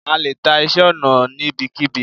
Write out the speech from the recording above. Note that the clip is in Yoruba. a lè ta iṣẹ ọna níbikíbi